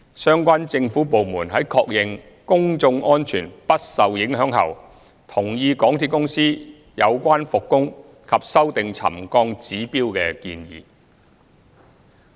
相關政府部門在確認公眾安全不受影響後，同意港鐵公司有關復工及修訂沉降指標的建議。